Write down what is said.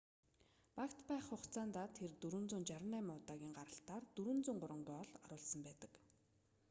багт байх хугацаандаа тэр 468 удаагийн гаралтаар 403 гоол оруулсан байдаг